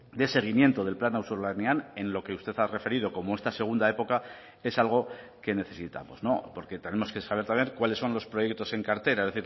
de seguimiento del plan auzolanean en lo que usted ha referido como esta segunda época es algo que necesitamos porque tenemos que saber también cuáles son los proyectos en cartera